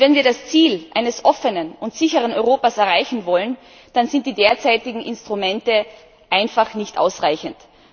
Wenn wir das Ziel eines offenen und sicheren Europas erreichen wollen, dann sind die derzeitigen Instrumente einfach nicht ausreichend.